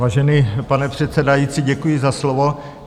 Vážený pane předsedající, děkuji za slovo.